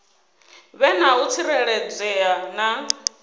vhe na u tsireledzea na